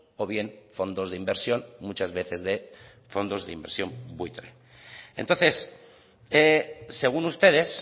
o bien fondos de inversión muchas veces de fondos de inversión buitre entonces según ustedes